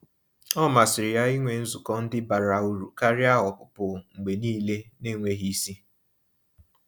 Ọ masịrị ya ịnwe nzukọ ndị bara ụrụ karịa ọpụpụ mgbe niile n'enweghị isi.